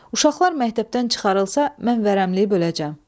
Uşaqlar məktəbdən çıxarılsa, mən vərəmliyə böləcəm.